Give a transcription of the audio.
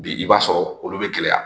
Bi i b'a sɔrɔ olu be gɛlɛya